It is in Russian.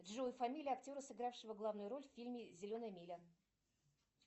джой фамилия актера сыгравшего главную роль в фильме зеленая миля